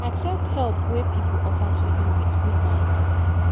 accept help wey pipo offer to you with good mind